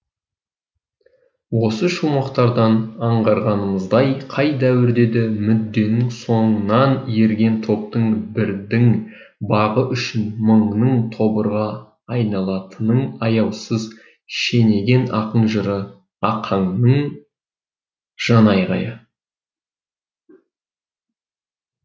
осы шумақтардан аңғарғанымыздай қай дәуірде де мүдденің соңынан ерген топтың бірдің бағы үшін мыңның тобырға айналатынын аяусыз шенеген ақын жыры ақанның жан айғайы